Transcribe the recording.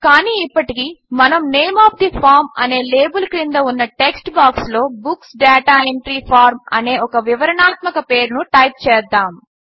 కాని ఇప్పటికి మనము నేమ్ ఒఎఫ్ తే ఫార్మ్ అనే లేబిల్ క్రింద ఉన్న టెక్స్ట్ బాక్స్లో బుక్స్ డాటా ఎంట్రీ ఫార్మ్ అనే ఒక వివరణాత్మక పేరును టైప్ చేద్దాము